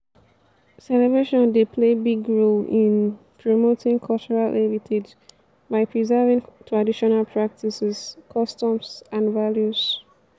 celebration dey play big role in promoting cultural heritage by preserving traditional practices customs and values.